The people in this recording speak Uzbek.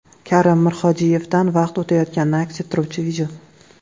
Karim Mirhodiyevdan vaqt o‘tayotganini aks ettiruvchi video.